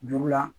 Juru la